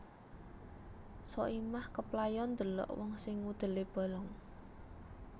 Soimah keplayon ndelok wong sing udele bolong